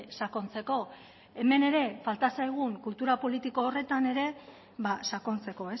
sakontzeko hemen ere falta zaigun kultura politiko horretan ere sakontzeko